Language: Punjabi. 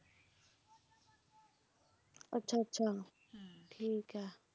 ਅੱਛਾ ਅੱਛਾ ਠੀਕ ਐ